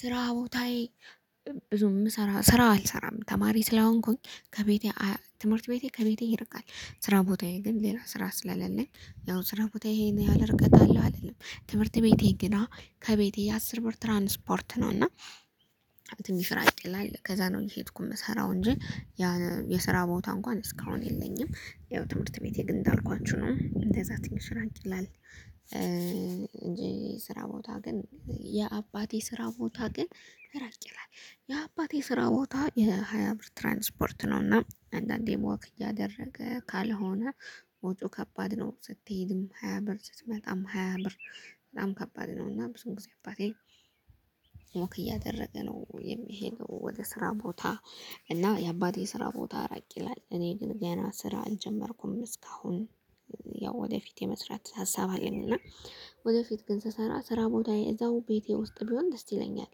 ስራ ቦታዬ ብዙም ምሰራ ስራ አልሰራም ተማሪ ስላሆንኩኝ ከቤቴ ትምህርት ቤቴ ከቤቴ ይርቃል። ስራ ቦታዬ ግን ሌላ ስራ ስለሌለኝ ያው ስራ ቦታዬ ይሄን ያህል ርቀት አለው አልልም። ትምህርት ቤቴ ገና ከቤቴ የአስር ብር ትራንስፖርት ነው እና ትንሽ ራቅ ይላል ከዛ ነው እየሄድኩ የምሰራው እንጂ። የስራ ቦታ እንኳን እስካሁን የለኝም። ያው ትምህርት ቤቴ ግን እንዳልኳችሁ ነው እንደዛ ትንሽ ራቅ ይላል። እንጂ ስራ ቦታ ግን የአባቴ ስራ ቦታ ግን ራቅ ይላል። የአባቴ ስራ ቦታ የሃያ ብር ትራንስፖርት ነውና አንዳንዴ ወክ እያደረገ ካልሆነ ወጪው ከባድ ነው። ስትሄድም ሃያ ብር ስትመጣም ሃያ ብር በጣም ከባድ ነው። እና ብዙ ጊዜ አባቴ ወክ እያደረገ ነው የሚሄደው ወደ ስራ ቦታ። እና የአባቴ ስራ ቦታ ራቅ ይላል እኔ ግን ገና ስራ አልጀመርኩም እስካሁን። ያው ወደፊት የመስራት ሀሳብ አለኝ። እና ወደፊት ግን ስሰራ ስራ ቦታዬ እዛው ቤቴ ውስጥ ቢሆን ደስ ይለኛል።